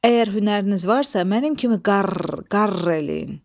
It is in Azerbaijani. Əgər hünəriniz varsa, mənim kimi qarr, qarr eləyin!"